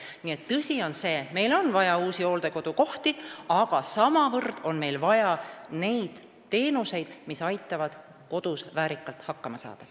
Nii et tõsi on see, et meil on vaja uusi hooldekodukohti, aga samavõrra on meil vaja neid teenuseid, mis aitavad kodus väärikalt hakkama saada.